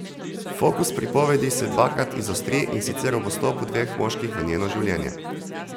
Fokus pripovedi se dvakrat izostri, in sicer ob vstopu dveh moških v njeno življenje.